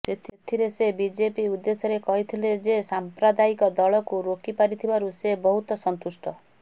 ସେଥିରେ ସେ ବିଜେପି ଉଦ୍ଦେଶ୍ୟରେ କହିଥିଲେ ଯେ ସାଂପ୍ରଦାୟିକ ଦଳକୁ ରୋକି ପାରିଥିବାରୁ ସେ ବହୁତ ସନ୍ତୁଷ୍ଟ